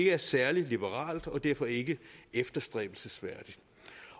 er særlig liberalt og derfor ikke efterstræbelsesværdigt